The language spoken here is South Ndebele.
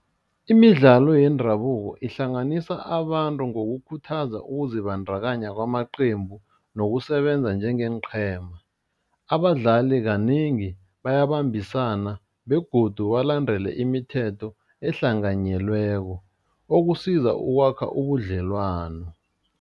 Imidlalo yendabuko ihlanganisa abantu ngokukhuthaza ukuzibandakanya kwamaqembu nokusebenza njengeenqhema, abadlali kanengi bayabambisana begodu balandele imithetho ahlanganyelweko okusiza ukwakha ubudlelwano.